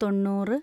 തൊണ്ണൂറ്